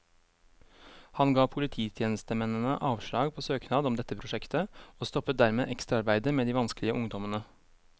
Han ga polititjenestemennene avslag på søknad om dette prosjektet, og stoppet dermed ekstraarbeidet med de vanskelige ungdommene.